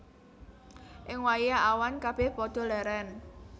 Ing wayah awan kabèh padha lèrèn